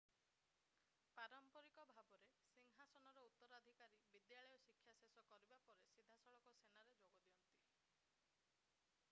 ପାରମ୍ପରିକ ଭାବରେ ସିଂହାସନର ଉତ୍ତରାଧିକାରୀ ବିଦ୍ୟାଳୟ ଶିକ୍ଷା ଶେଷ କରିବା ପରେ ସିଧାସଳଖ ସେନାରେ ଯୋଗ ଦିଅନ୍ତି